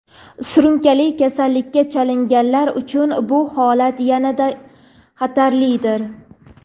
surunkali kasallikka chalinganlar) uchun bu holat yanada xatarlidir.